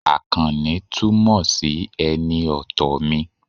Àkànní túmọ̀ sí ẹni ọ̀tọ̀ mi